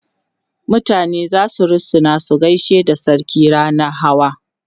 mutane zasu rusuna su gaishe da sarki rannan Hawa